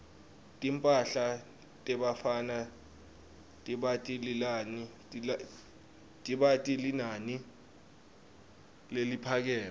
timphahla tebafana tibita linani leliphakeme